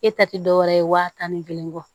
E ta te dɔwɛrɛ ye waa tan ni kelen kɔ